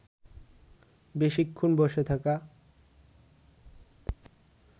বেশিক্ষণ বসে থাকা